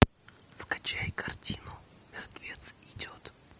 скачай картину мертвец идет